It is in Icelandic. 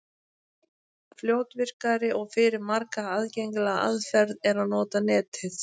Fljótvirkari og fyrir marga aðgengilegri aðferð er að nota Netið.